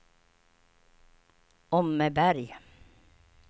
Åmmeberg